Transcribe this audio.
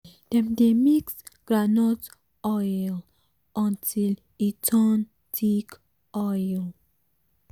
dem dey mix groundnut oil until e turn thick oil